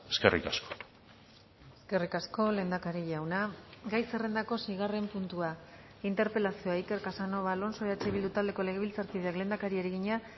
eskerrik asko eskerrik asko lehendakari jauna gai zerrendako seigarren puntua interpelazioa iker casanova alonso eh bildu taldeko legebiltzarkideak lehendakariari egina